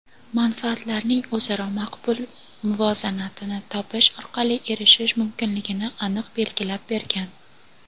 manfaatlarning o‘zaro maqbul muvozanatini topish orqali erishish mumkinligini aniq belgilab bergan.